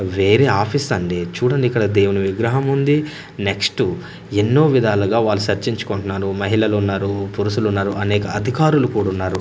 వేరే ఆఫీస్ అండి చూడండి ఇక్కడ దేవుని విగ్రహముంది నెక్స్ట్ ఎన్నో విధాలుగా వాళ్ళు సర్చించుకుంటున్నారు మహిళలున్నారు పురుషులు ఉన్నారు అనేక అధికారులు కూడున్నారు.